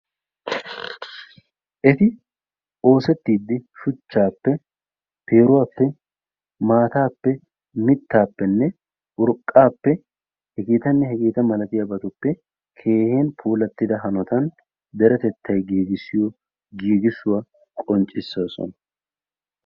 Eti oosettiiddi: shuchchaappe, peeruwappe, mittaappe, maataappenne urqqaappe h.h.m keehippe puulattida hanotan deretettay giigissiyo giigissuwa qonccissoosona.